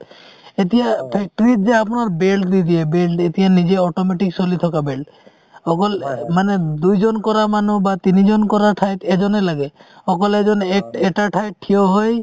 এতিয়া factory ত যে আপোনাৰ belt দি দিয়ে belt এতিয়া নিজে automatic চলি থকা belt অকল মানে দুইজন কৰা মানুহ বা তিনিজন কৰা ঠাইত এজনে লাগে অকল এজন এক~ এটা ঠাইত থিয় হয়